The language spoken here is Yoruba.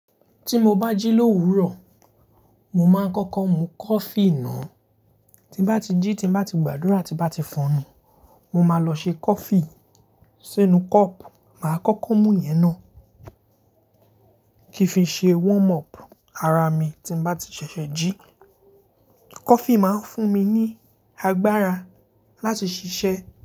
Tí mo bá jí l'òwúrò, mo máa ń kọ́kọ́ mu coffee náà. Tí bá ti jí, tí bá ti gbàdúrà, tí bá ti fọ enu, mo máa lọ ṣe coffee sínú cup. Mà á kọ́kọ́ mú ìyẹn náà kí ó fi ṣe warm up ara mi tí bá ti ṣẹ̀ṣẹ̀ jí. Coffee máa ń fún mi ní agbára láti ṣiṣẹ́